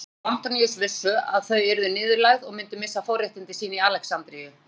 Kleópatra og Antoníus vissu að þau yrðu niðurlægð og myndu missa forréttindi sín í Alexandríu.